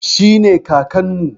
Shi ne Kakanmu.